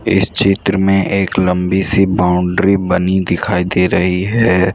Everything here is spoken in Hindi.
इस चित्र में एक लंबी सी बाउंड्री बनी दिखाई दे रही है।